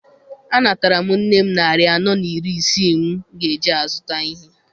Anatara m nne m narị anọ na iri isii m ga-eji zụta ihe.